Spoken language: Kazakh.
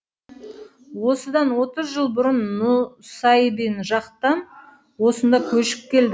осыдан отыз жыл бұрын нұсайбин жақтан осында көшіп келдік